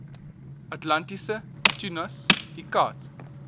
atlantiese tunas iccat